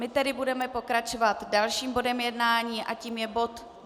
My tedy budeme pokračovat dalším bodem jednání a tím je bod